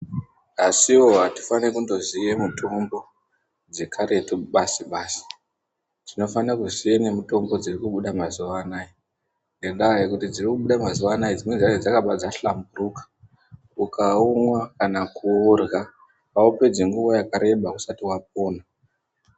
Asiwo atifaniri kundoziye mitombo dzekaretu basi basi tinofane kuziya nemitombo dzirikubuda mazuwanaya ngenda yekuti dziri kubuda mazuwanaya dzakabva dza hlamburuka ukaumwavkana kuurya aupedzi nguwa yakareba usati wapona.